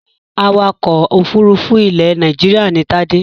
Awakọ̀ òfurufú ilẹ̀ Nàìjíríà ni Tádé.